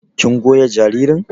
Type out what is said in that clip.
kin goya jaririn?